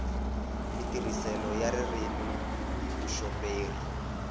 matirhiselo ya ririmi hi vuxoperi